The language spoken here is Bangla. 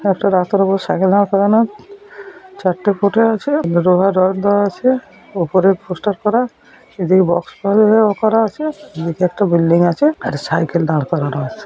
একটা রাস্তার উপরে একটা সাইকেল দাঁড় করানো চারটে ফুটে আছে লোহার রড দেওয়া আছে । ওপরে পোস্টার করা এদিকে বাক্স পাল এ-র করা আছে । মুখে একটা বিল্ডিং আছেএকটা সাইকেল দাঁড় করানো আছে ।